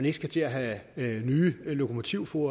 ikke skal til at have nye lokomotivførere